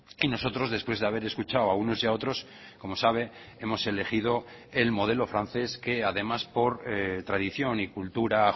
y nosotros después de haber escuchado a unos y a otros como sabe hemos elegido el modelo francés que además por tradición y cultura